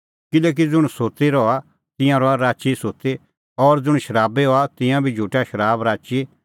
किल्हैकि ज़ुंण सुत्ती रहा तिंयां रहा राची ई सुत्ती और ज़ुंण शराबी हआ तिंयां बी झुटा शराब राची